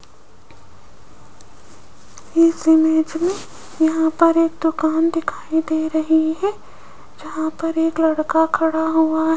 इस इमेज मे यहां पर एक दुकान दिखाई दे रही है जहां पर एक लड़का खड़ा हुआ --